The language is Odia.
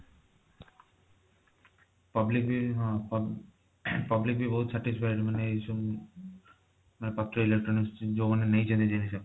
public ବି ହଁ public ବି ବହୁତ satisfy ମାନେ ଏଇ ସବୁ ମାନେ ପାତ୍ର electronics ରୁ ଯୋଊମାନେ ନେଇଛନ୍ତି ଜିନିଷ